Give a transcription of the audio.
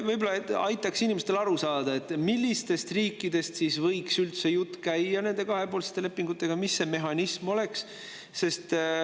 Ma tahaksin siiski aidata inimestel aru saada, millistest riikidest võiks üldse jutt käia nende kahepoolsete lepingute puhul ja milline see mehhanism oleks.